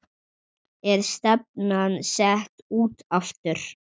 Er stefnan sett út aftur?